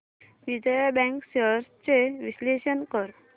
Vijaya bank shares चे विश्लेषण कर